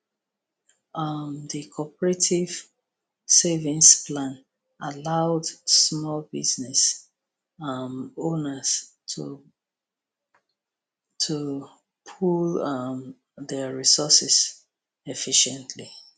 um di cooperative savings plan allowed small business um owners to to pool um dia resources efficiently